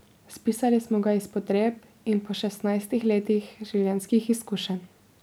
Spisali smo ga iz potreb in po šestnajstih letnih življenjskih izkušenj.